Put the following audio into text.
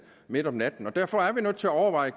midt om natten og derfor er vi nødt til at overveje